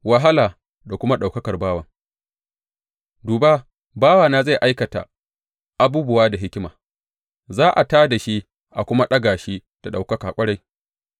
Wahala da kuma ɗaukakar bawan Duba, bawana zai aikata abubuwa da hikima; za a tā da shi a kuma ɗaga shi da ɗaukaka ƙwarai.